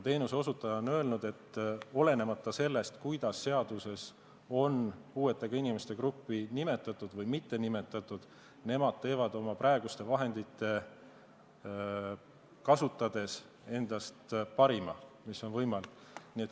Teenuseosutaja on öelnud, et olenemata sellest, kuidas seaduses on puuetega inimeste gruppi nimetatud või mitte nimetatud, nemad annavad oma praegusi vahendeid kasutades endast parima, mis on võimalik.